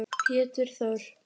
Pétur Þór.